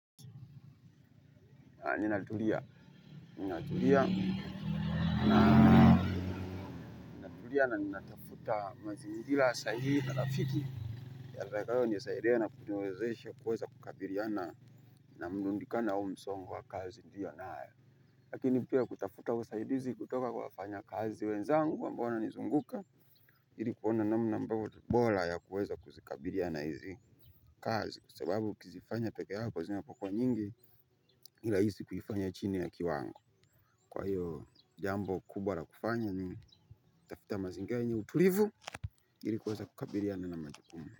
Nina tulia, nina tulia na nina tafuta mazi ngira sahihi na rafiki atakayonisaidia na kuniwezesha kuweza kukabiriana na mrudikano au msongo wa kazi pia naye lakini pia kutafuta usaidizi kutoka kwa wafanyakazi wenzangu ambao wananizunguka ili kuona namna ambao ni bora ya kuweza kuzikabiriana hizi kazi. Kwa sababu ukizifanya peke yako kwa zina pokuwa nyingi si rahisi kuifanya chini ya kiwango. Kwa hiyo jambo kubwa la kufanya ni tafuta mazingira yenye utulivu ili kuweza kukabiriana na majukumu.